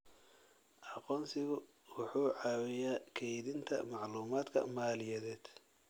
Aqoonsigu wuxuu caawiyaa kaydinta macluumaadka maaliyadeed.